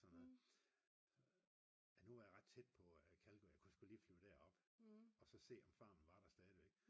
sådan noget nu er jeg ret tæt på Calgary og kunne sgu lige flyve derop og så se om farmen var der stadigvæk